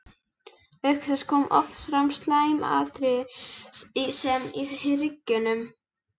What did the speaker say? Auk þess koma oft fram slæm áhrif þess í hryggnum.